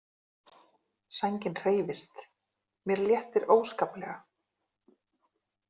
Sængin hreyfist, mér léttir óskaplega.